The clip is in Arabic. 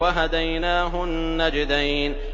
وَهَدَيْنَاهُ النَّجْدَيْنِ